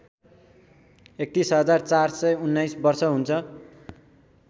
७१ हजार ४२९ वर्ष हुन्छ